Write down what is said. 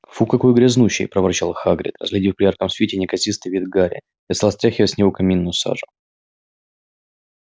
фу какой грязнущий проворчал хагрид разглядев при ярком свете неказистый вид гарри и стал стряхивать с него каминную сажу